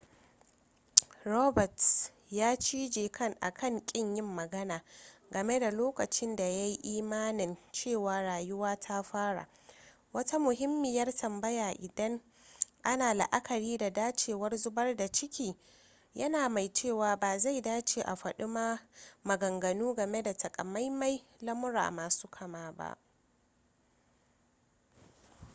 roberts ya cije akan kin yin magana game da lokacin da ya yi imanin cewa rayuwa ta fara wata muhimmiyar tambaya idan ana la'akari da dacewar zubar da ciki yana mai cewa ba zai dace a faɗi maganganu game da takamaiman lamurra masu kama ba